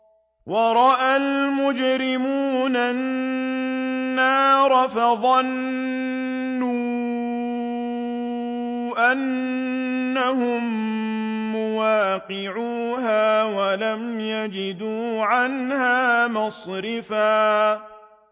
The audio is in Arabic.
وَرَأَى الْمُجْرِمُونَ النَّارَ فَظَنُّوا أَنَّهُم مُّوَاقِعُوهَا وَلَمْ يَجِدُوا عَنْهَا مَصْرِفًا